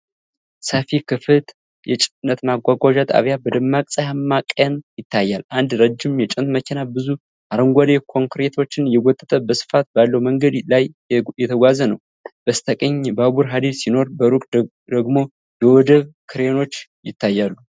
ሰፊ፣ ክፍት የጭነት ማጓጓዣ ጣቢያ በደማቅ ፀሐያማ ቀን ይታያል። አንድ ረጅም የጭነት መኪና፣ ብዙ አረንጓዴ ኮንቴይነሮችን እየጎተተ በስፋት ባለው መንገድ ላይ እየተጓዘ ነው። በስተቀኝ የባቡር ሐዲድ ሲኖር፣ በሩቅ ደግሞ የወደብ ክሬኖች ይታያሉ።